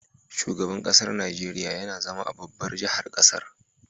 Shugaban ƙasar Nigeria YAna zama a babbar jahar ƙasar